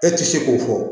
E ti se k'o fɔ